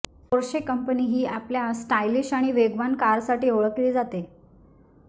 Porsche company ही आपल्या stylish आणि वेगवान कारसाठी ओळखली जाते